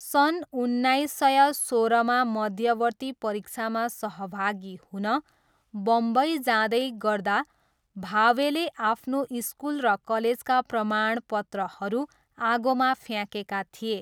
सन् उन्नाइस सय सोह्रमा मध्यवर्ती परीक्षामा सहभागी हुन बम्बई जाँदै गर्दा भावेले आफ्नो स्कुल र कलेजका प्रमाणपत्रहरू आगोमा फ्याँकेका थिए।